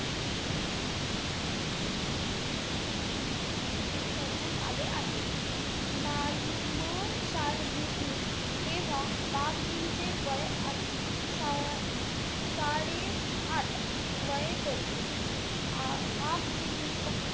करण्यात आले आहे. म~ मशाल घेतली तेव्हा, बापजींचे वय आत~ सा साडेआठ वय होते. आपजींनी,